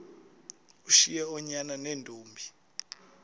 ushiye oonyana neentombi